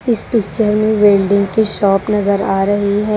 इस पिक्चर में बिल्डिंग की शॉप नजर आ रही है।